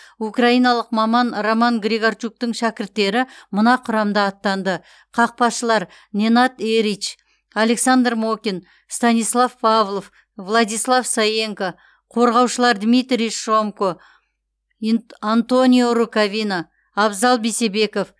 украиналық маман роман григорчуктың шәкірттері мына құрамда аттанды қақпашылар ненад эрич александр мокин станислав павлов владислав саенко қорғаушылар дмитрий шомко антонио рукавина абзал бейсебеков